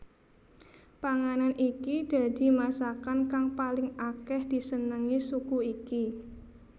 Panganan iki dadi masakan kang paling akeh disenengi suku iki